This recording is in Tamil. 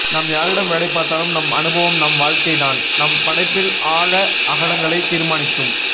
நாம் யாரிடம் வேலை பார்த்தாலும் நம் அனுபவம் நம் வாழ்க்கைதான் நம் படைப்பிள் ஆழ அகலங்களை தீர்மானிக்கும்